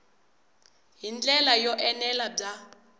hi ndlela yo enela bya